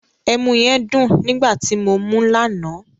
Ẹmu yẹn dùn nígbà ti mo mú lánàá.